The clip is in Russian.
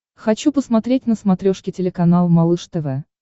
хочу посмотреть на смотрешке телеканал малыш тв